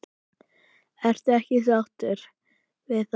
Ertu ekki sáttur við það?